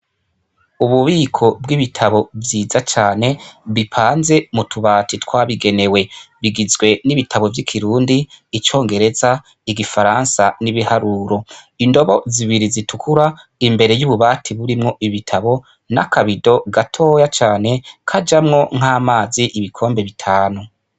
Ububiko bw’ibitabo vyiza cane bipanze mutubati twabigenewe bigizwe n’ibitabo vy’ikirundi, icongereza, igifaransa n’ibiharuro. Indobo zibiri zitukura imbere y’ububati burimwo ibitabo, n’akabido gatoya cane kajamwo nk’amazi ibikombe bitanu.